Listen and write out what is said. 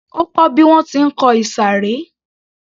Ó kó bí wọ́n ti ń kọ ìsàré